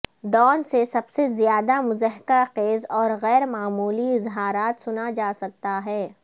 Dawn سے سب سے زیادہ مضحکہ خیز اور غیر معمولی اظہارات سنا جا سکتا ہے